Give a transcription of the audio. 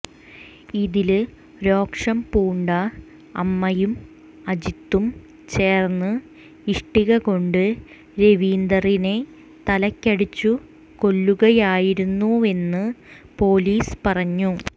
ഇതില് രോഷം പൂണ്ട അമ്മയും അജീതും ചേര്ന്ന് ഇഷ്ടിക കൊണ്ട് രവീന്ദറിനെ തലയ്ക്കടിച്ചു കൊല്ലുകയായിരുന്നുവെന്ന് പൊലീസ് പറഞ്ഞു